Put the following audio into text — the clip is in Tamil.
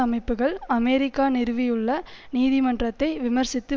அமைப்புக்கள் அமெரிக்கா நிறுவியுள்ள நீதிமன்றத்தை விமர்சித்து